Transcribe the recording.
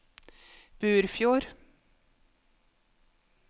Burfjord